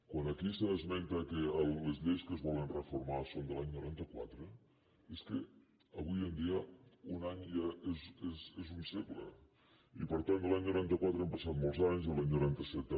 quan aquí s’esmenta que les lleis que es volen reformar són de l’any noranta quatre és que avui en dia un any ja és un segle i per tant de l’any noranta quatre han passat molts anys de l’any noranta set també